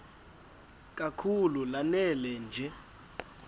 kakhulu lanela nje